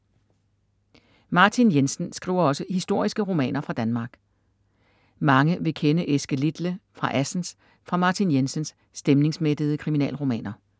Martin Jensen skriver også historiske romaner fra Danmark. Mange vil kende Eske Litle fra Assens fra Martin Jensens stemningsmættede kriminalromaner.